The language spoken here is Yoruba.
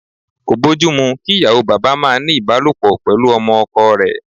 Kò bójú mu kí ìyàwó bàbá máa ní ìbálòpọ̀ pẹ̀lú ọmọ ọkọ rẹ̀.